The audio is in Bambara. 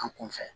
An kun fɛ